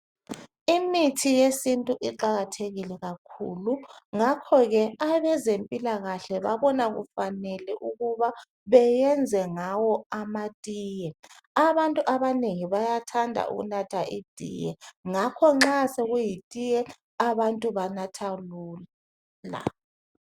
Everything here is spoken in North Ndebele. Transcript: Imithi yesintu iqakathekile kakhulu ngakhoke abezempilakahle babona kufanele ukuba bayenze ngawo amatiye. Àbantu abanengi bayathanda ukunatha itiye, ngakho nxa sekuyitiye àbantu banatha lula.